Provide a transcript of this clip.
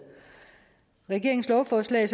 regeringens lovforslag